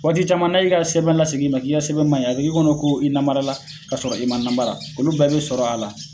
Waati caman na y'i ka sɛbɛn lasegin i ma k'i ka sɛbɛn maɲi a b'i k'e kɔnɔ ko i namarala ka sɔrɔ i ma namara olu bɛɛ be sɔrɔ a la